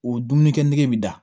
O dumunikɛ nege bɛ da